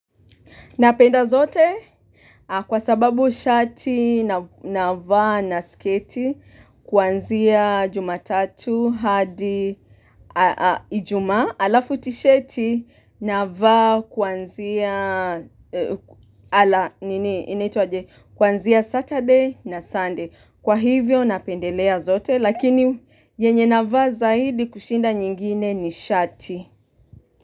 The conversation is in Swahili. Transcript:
Napenda zote kwa sababu shati na vaa na skati kuanzia jumatatu hadi ijumaa alafu tisheti na vaa kuanzia Saturday na Sunday. Kwa hivyo napendelea zote lakini yenye na va zaidi kushinda nyingine ni shati.